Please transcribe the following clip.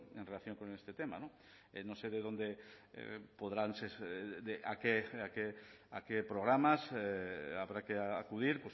en relación con este tema que no sé a qué programas habrá que acudir